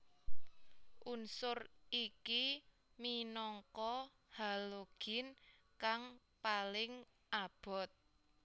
Unsur iki minangka halogin kang paling abot